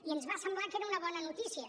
i ens va semblar que era una bona notícia